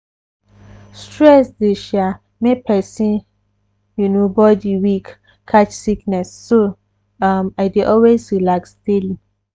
stress dey sha make persin you know body weak catch sickness so um i dey always relax daily.